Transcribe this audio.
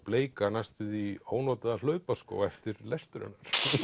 bleika næstum því ónotaða hlaupaskó eftir lestur